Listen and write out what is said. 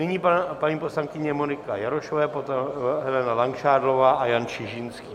Nyní paní poslankyně Monika Jarošová, potom Helena Langšádlová a Jan Čižinský.